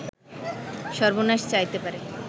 সর্বনাশ চাইতে পারে